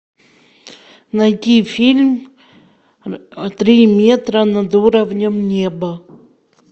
найди фильм три метра над уровнем неба